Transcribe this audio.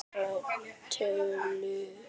Gylltar tölur.